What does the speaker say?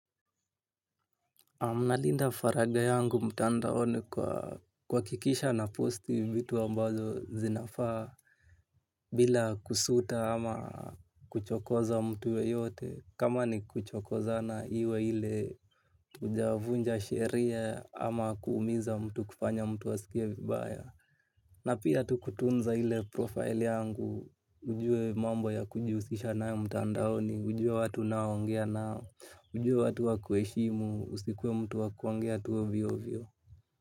Na nalinda faragha yangu mtandaoni kwa kuhakikisha naposti vitu ambazo zinafaa bila kusuta ama kuchokoza mtu yeyote kama ni kuchokozana iwe ile tujavunja sheria ama kuumiza mtu kufanya mtu asikie vibaya. Na pia tu kutunza ile profile yangu, ujue mambo ya kujihusisha na mtandaoni, ujue watu naoongea nao, ujue watu wa kuheshimu, usikuwa mtu wa kuongea tu ovyoovyo.